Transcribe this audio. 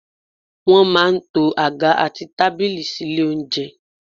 Wọ́n má a n to àga àti tábìlì sílé oúnjẹ